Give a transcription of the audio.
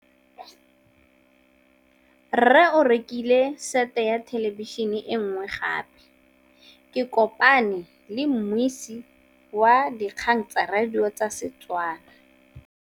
Rre o rekile sete ya thêlêbišênê e nngwe gape. Ke kopane mmuisi w dikgang tsa radio tsa Setswana.